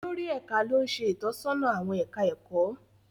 Olórí Ẹka lo n ṣe itọsọna awọn ẹka ẹkọ.